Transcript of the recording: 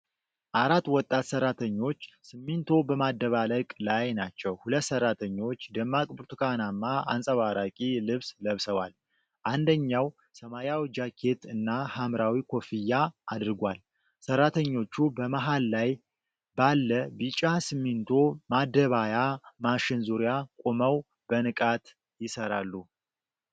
አራት ወጣት ሠራተኞች ሲሚንቶ በማደባለቅ ላይ ናቸው። ሁለት ሠራተኞች ደማቅ ብርቱካናማ አንጸባራቂ ልብስ ለብሰዋል፤ አንደኛው ሰማያዊ ጃኬት እና ሐምራዊ ኮፍያ አድርጓል። ሠራተኞቹ በመሃል ላይ ባለ ቢጫ ሲሚንቶ ማደባያ ማሽን ዙሪያ ቆመው በንቃት ይሠራሉ።